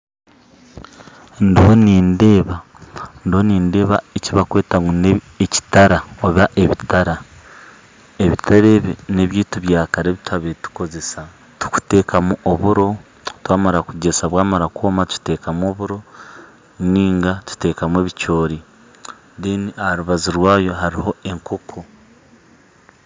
Ndiho nindeeba ndiho nindeeba eki bakweta ngu n'ebitara oba ebitara, ebitara ebi neby'ebiti byakare ebi twabire tukozesa tukuteekamu oburo twamara kugyesa bwamara kwoma tukiteekamu oburo ninga tutekamu ebicoori aharubaju rwabyo hariho enkooko